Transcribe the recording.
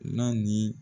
N'a ni